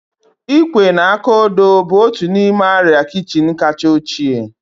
Ịkwé na aka odo bụ otu n'ime arịa kichin kacha ochie